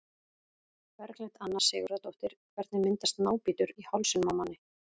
Berglind Anna Sigurðardóttir Hvernig myndast nábítur í hálsinum á manni?